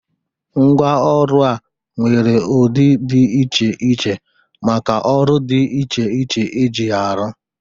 Mgwa ọrụ a nwere ụdi dị iche iche maka ọrụ dị iche iche e ji ya arụ.